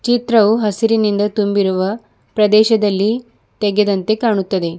ಚಿತ್ರವು ಹಸಿರಿನಿಂದ ತುಂಬಿರುವ ಪ್ರದೇಶದಲ್ಲಿ ತೆಗೆದಂತೆ ಕಾಣುತ್ತದೆ.